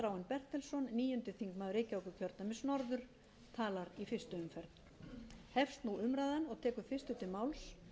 bertelsson níundi þingmaður reykjavíkurkjördæmis norður talar í fyrstu umferð hefst nú umræðan tekur fyrstur til máls